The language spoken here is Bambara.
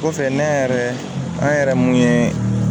Kɔfɛ ne yɛrɛ an yɛrɛ mun ye